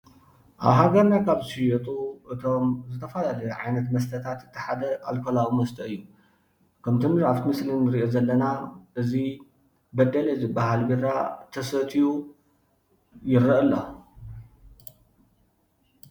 ኣብ ሃገርና ካብ ዝሽየጡ እቶም ዝተፈላለዩ ዓይነት መስተታት እቲ ሓደ ኣልኮላዊ መስተ እዩ፡፡ ከምእቲ ኣብ ቲ ምስሊ እንሪኦ ዘለና እዚ በደሌ ዝባሃል ቢራ ተሰትዩ ይረአ ኣሎ፡፡